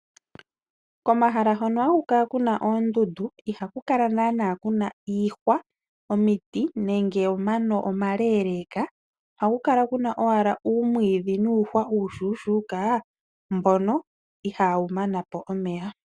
Komahala hono haku kala kuna oondundu ihaku kala nana kuna iihwa, omiti nenge omano omale leka ohaku kala kuna owala uumwiidhi nuuhwa uushushuka mbono ihawu mana po omeya.